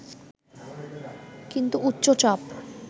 কিন্তু উচ্চ চাপ